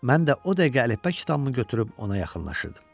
Mən də o dəqiqə əlifba kitabımı götürüb ona yaxınlaşırdım.